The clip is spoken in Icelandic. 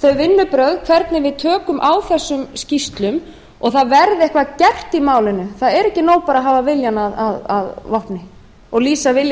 þau vinnubrögð hvernig við tökum á þessum skýrslum og það verði eitthvað gert í málinu það er ekki nóg bara að hafa viljann að vopni og lýsa vilja